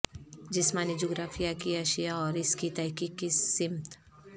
جسمانی جغرافیہ کی اشیاء اور اس کی تحقیق کی سمت